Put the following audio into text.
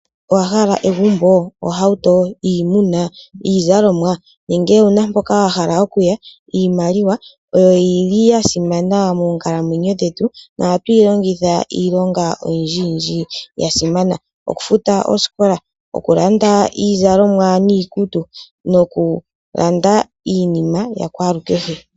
Owahala egumbo, ohauto, iimuna, iizalomwa nenge owuna mpoka wahala okuya, iimaliwa oyo yili yasimana monkalamwenyo dhetu nohatwilongitha iilonga oyindji yindji yasimana okufuta osikola, okulanda iizalomwa nokulanda iinima yakwalukehe.